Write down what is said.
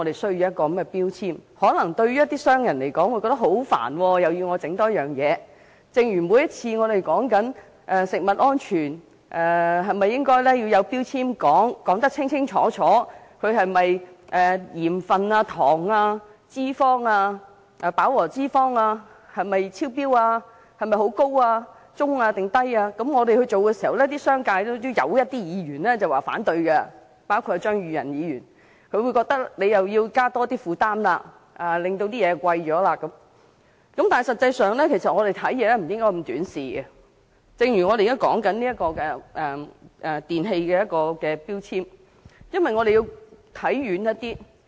正如每次討論食物安全問題，當有議員建議食物標籤清楚列明相關食品的鹽分、糖、脂肪及飽和脂肪含量有否超標，有些商界議員總會反對，認為會增加食品商的負擔，令成本上升。正如我們現在討論電器的能源標籤，我們應該看遠一點。